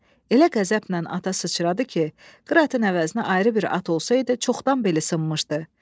Elə qəzəblə atı sıçradı ki, qıratın əvəzinə ayrı bir at olsaydı, çoxdan belə sınmışdı.